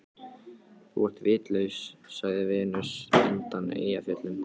Þú ert vitlaus, sagði Venus undan Eyjafjöllum.